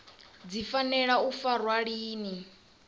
dzi fanela u farwa lini